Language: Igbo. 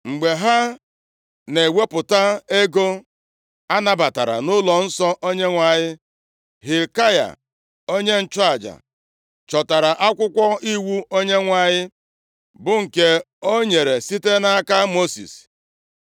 Mgbe ha na-ewepụta ego anabatara nʼụlọnsọ Onyenwe anyị, Hilkaya onye nchụaja chọtara akwụkwọ Iwu Onyenwe anyị, bụ nke o nyere site nʼaka Mosis.